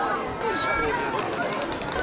discordian holidays